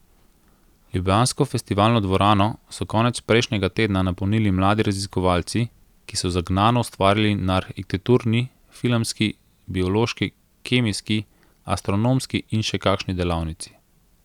Ljubljansko Festivalno dvorano so konec prejšnjega tedna napolnili mladi raziskovalci, ki so zagnano ustvarjali na arhitekturni, filmski, biološki, kemijski, astronomski in še kakšni delavnici.